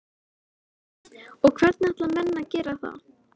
Eva: Og hvernig ætla menn að gera það?